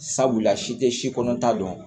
Sabula si tɛ si kɔnɔn ta dɔn